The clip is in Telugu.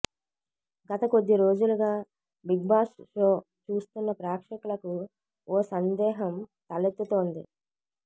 గత కొద్ది రోజులుగా బిగ్బాస్ షో చూస్తున్న ప్రేక్షకులకు ఓ సందేహం తలెత్తుతోంది